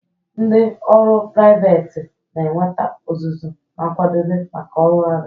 Ndị ọrụ priveti na-enweta ọzụzụ na nkwadebe maka ọrụ agha.